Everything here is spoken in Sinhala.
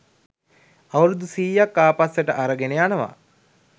අවුරුදු සීයක් ආපස්සට අරගෙන යනවා.